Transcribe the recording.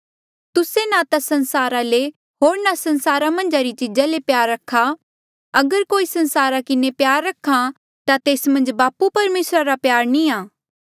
तुस्से ना ता संसारा ले होर ना संसारा मन्झा री चीजा ले प्यार रखा अगर कोई संसारा किन्हें प्यार रख्हा ता तेस मन्झ बापू परमेसर रा प्यार नी आ